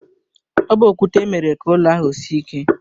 Ọ bu okwute mere ka ụlọ ahụ sie ike.